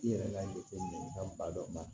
I yɛrɛ ka jateminɛ ka ba dɔ ba